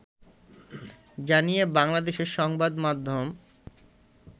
জানিয়ে বাংলাদেশের সংবাদ মাধ্যম